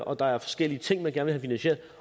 og der er forskellige ting vil have finansieret